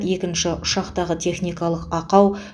екінші ұшақтағы техникалық ақау